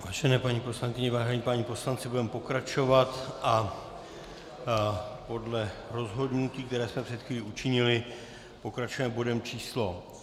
Vážené paní poslankyně, vážení páni poslanci, budeme pokračovat a podle rozhodnutí, které jsme před chvíli učinili, pokračujeme bodem číslo